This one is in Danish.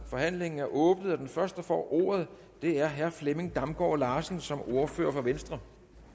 forhandlingen er åbnet og den første der får ordet er herre flemming damgaard larsen som ordfører for venstre